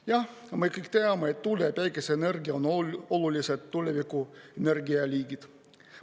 Jah, me kõik teame, et tuule‑ ja päikeseenergia on olulised tuleviku energialiigid.